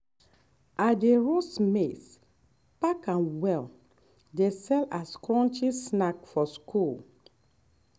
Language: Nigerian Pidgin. i dey roast maize pack am well dey sell as crunchy snack for school.